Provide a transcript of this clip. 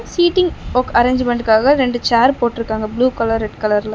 Seating வொக் அரேஞ்ச்மென்ட்காக ரெண்டு சேர் போட்ருக்காங்க ப்ளூ கலர் ரெட் கலர்னு .